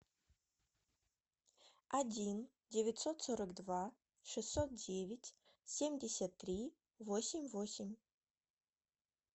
один девятьсот сорок два шестьсот девять семьдесят три восемь восемь